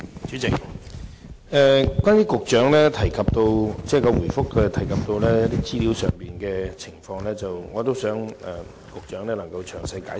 主席，就主體答覆提到的一些資料和情況，我希望局長作詳細解釋。